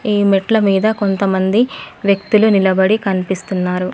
ఈ మెట్ల మీద కొంతమంది వ్యక్తులు నిలబడి కన్పిస్తున్నారు.